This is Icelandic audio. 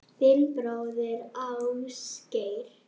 Þinn bróðir, Ásgeir.